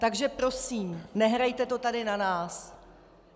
Takže prosím, nehrajte to tady na nás.